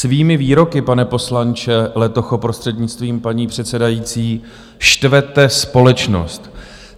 Svými výroky, pane poslanče Letocho, prostřednictvím paní předsedající, štvete společnost.